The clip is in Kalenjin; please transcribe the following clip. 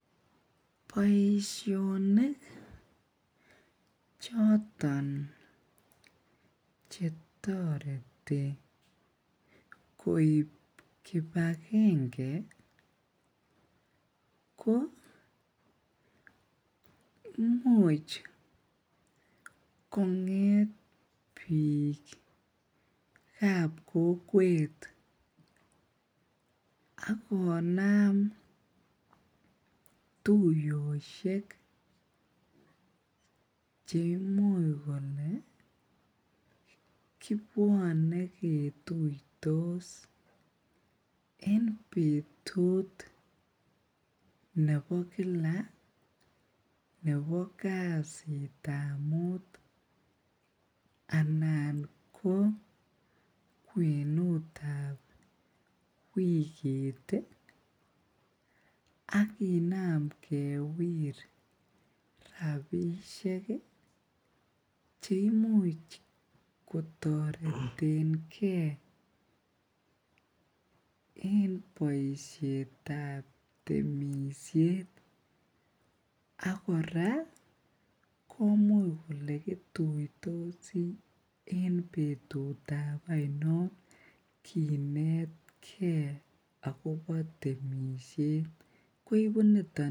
Boisionik choton chetoreti ko koib kibagenge ih ko imuche kong'et bikab kokwet akonam tuyosiek chekibwane ketutos en Kila kasitab muut anan anan ko kwenut tab wigit akinam kewir rabisiek cheimuche kotaretenge temisiet ak kora komuch kole kituitosi en betut ainonkinetke agobo temisiet koibu niton